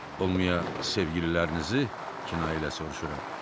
Olmaya sevgililərinizi kinayə ilə soruşuram.